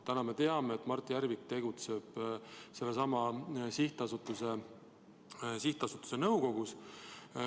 Täna me teame, et Mart Järvik tegutseb sellesama sihtasutuse nõukogus.